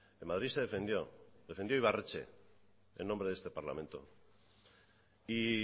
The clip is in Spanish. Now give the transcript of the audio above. en madrid se defendió defendió ibarretxe en nombre de este parlamento y